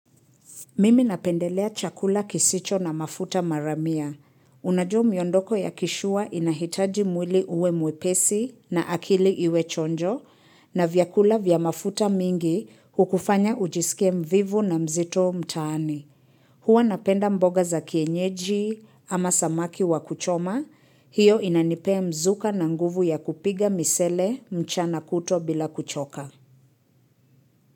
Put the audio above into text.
Mimi napendelea chakula kisicho na mafuta maramia. Unajua miondoko ya kisure inahitaji mwili uwe mwepesi na akili iwe chonjo na vyakula vya mafuta mingi hukufanya ujisikie mvivu na mzito mtaani. Huwa napenda mboga za kienyeji ama samaki wa kuchoma. Hio inanipea mzuka na nguvu ya kupiga misele mchana kutwa bila kuchoka.